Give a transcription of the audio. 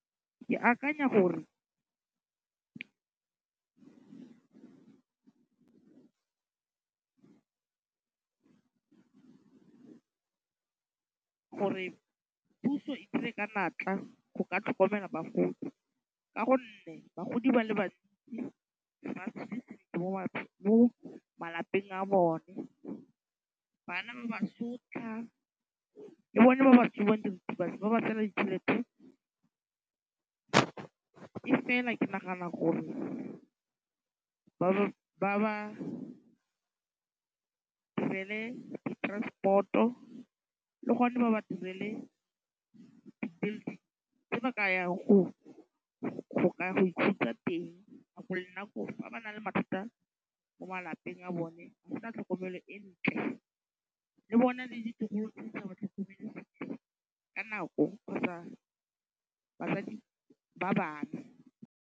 Ke akanya gore puso e dire ka natla go ka tlhokomela bogodu ka gonne bagodi ba le bantsi ba mo malapeng a bone. Bana ba ba sotlha. Le bone ba ba tsubang diretebatsi ba ba tseela ditšhelete. E fela ke nagana gore ba ba direle di transport-o. Le gone ba ba direle di-building tse ba ka yang go ka ya go ikhutsa teng. Gwa go nna koo. Fa ba na le mathata mo malapeng a bone go tla tlhokomelo e ntle. Le bona le ditlogolo tse di sa ba tlhokomeleng ka nako kgotsa ba